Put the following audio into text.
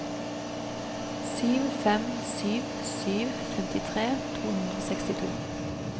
sju fem sju sju femtitre to hundre og sekstito